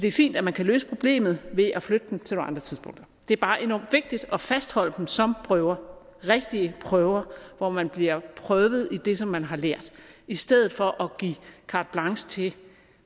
er fint at man kan løse problemet ved at flytte dem til nogle andre tidspunkter det er bare enormt vigtigt at fastholde dem som prøver rigtige prøver hvor man bliver prøvet i det som man har lært i stedet for at give carte blanche til